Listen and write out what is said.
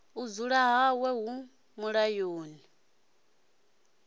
u dzula hawe hu mulayoni